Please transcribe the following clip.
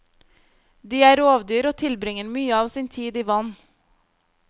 De er rovdyr og tilbringer mye av sin tid i vann.